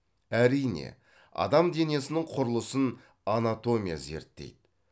әрине адам денесінің құрылысын анатомия зерттейді